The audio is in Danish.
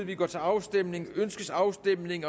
vi går til afstemning afstemning